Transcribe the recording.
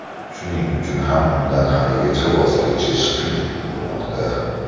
Shuning uchun ham undan haligacha voz kechish qiyin bo‘lmoqda.